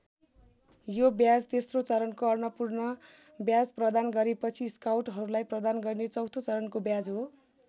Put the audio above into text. यो ब्याज तेस्रो चरणको अन्नपूर्ण ब्याज प्रदान गरेपछि स्काउटहरूलाई प्रदान गरिने चौथो चरणको ब्याज हो।